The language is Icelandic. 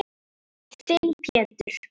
Þinn Pétur.